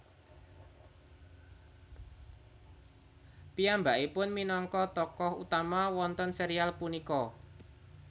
Piyambakipun minangka tokoh utama wonten serial punika